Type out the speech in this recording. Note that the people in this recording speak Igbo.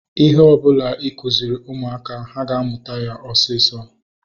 Ihe ọbụla ịkụziri ụmụaka, ha na-amụta ya osisọ